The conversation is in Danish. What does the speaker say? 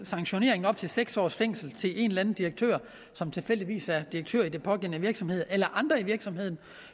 sanktionering med op til seks års fængsel til en eller anden direktør som tilfældigvis er direktør i den pågældende virksomhed eller andre i virksomheden